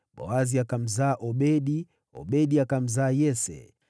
Boazi akamzaa Obedi, Obedi akamzaa Yese.